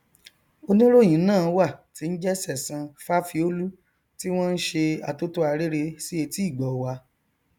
oníròhìn ná wà tí n jẹ sẹsan fáfiólú tí wọn n ṣe atótó arére sí etí ìgbọ wa